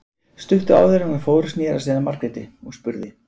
Stuttu áður en hann fór sneri hann sér að Margréti og spurði